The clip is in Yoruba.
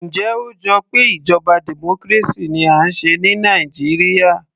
Njẹ́ ó jọ pé ìjọba democracy ni à ń ṣe ní Nàìjíríà